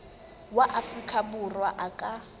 wa afrika borwa a ka